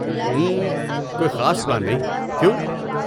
اممم، کوئی خاص پلان نہیں، کیوں؟